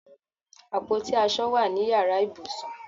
Àpótí aṣọ wà ní yàrá ìbùsùn